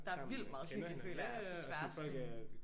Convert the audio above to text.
Der er vildt meget hygge føler jeg på tværs sådan